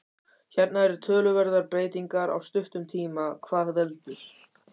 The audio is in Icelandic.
Hérna eru töluverðar breytingar á stuttum tíma, hvað veldur?